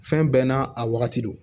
Fɛn bɛɛ n'a a wagati don